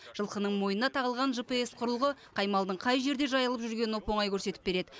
жылқының мойнына тағылған жпс құрылғы қай малдың қай жерде жайылып жүргенін оп оңай көрсетіп береді